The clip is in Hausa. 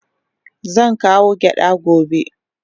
Zan kawo gyada gobe.